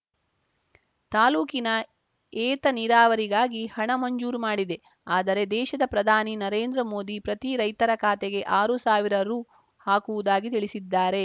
ತಾಲೂಕಿನ ಏತ ನೀರಾವರಿಗಾಗಿ ಹಣ ಮಂಜೂರು ಮಾಡಿದೆ ಆದರೆ ದೇಶದ ಪ್ರಧಾನಿ ನರೇಂದ್ರ ಮೋದಿ ಪ್ರತಿ ರೈತರ ಖಾತೆಗೆ ಆರು ಸಾವಿರ ರು ಹಾಕುವುದಾಗಿ ತಿಳಿಸಿದ್ದಾರೆ